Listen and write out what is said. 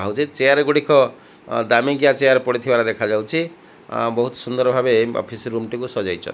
ଆଉ ଯେ ଚେୟାର ଗୁଡ଼ିକ ଦାମିକିଆ ଚେୟାର ପଡିଥିବାର ଦେଖା ଯାଉଛି ବହୁତ ସୁନ୍ଦର ଭାବେ ଅଫିସ ରୁମ ଟି କୁ ସଜାଇଛ --